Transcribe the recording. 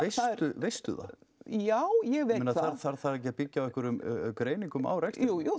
veistu það já ég veit það þarf það ekki að byggja á einhverjum greiningum á rekstri jú